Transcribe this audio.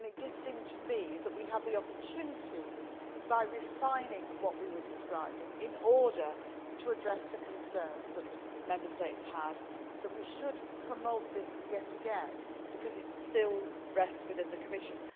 It seemed to me that we had the opportunity, by refining what we were describing in order to address the concerns that Member States had, to promote this yet again, because it still rests within the Commission.